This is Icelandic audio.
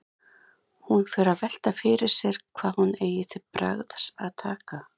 Hún fer að velta fyrir sér hvað hún eigi til bragðs að taka.